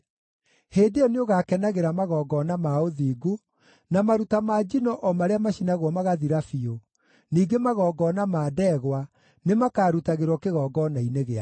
Hĩndĩ ĩyo nĩũgakenagĩra magongona ma ũthingu, na maruta ma njino o marĩa macinagwo magathira biũ; ningĩ magongona ma ndegwa nĩmakarutagĩrwo kĩgongona-inĩ gĩaku.